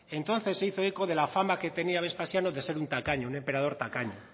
entonces se hizo eco de la fama que tenía vespasiano de ser un tacaño un emperador tacaño